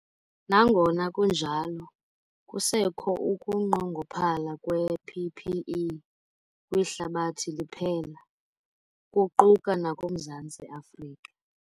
Nangona kunjalo, kusekho ukunqongophala kwee-PPE kwihlabathi liphela, kuquka nakuMzantsi Afrika.